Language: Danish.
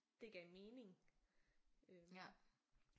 Det gav mening øh